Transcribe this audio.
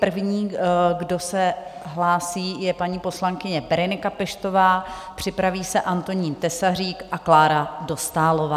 První, kdo se hlásí, je paní poslankyně Berenika Peštová, připraví se Antonín Tesařík a Klára Dostálová.